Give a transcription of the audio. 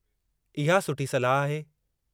इहा सुठी सलाह आहे।